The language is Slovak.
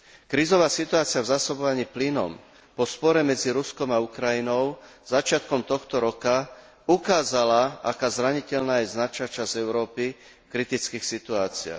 Krízová situácia v zásobovaní plynom po spore medzi Ruskom a Ukrajinou začiatkom tohto roka ukázala, aká zraniteľná je značná časť Európy v kritických situáciách.